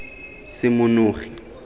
semonogi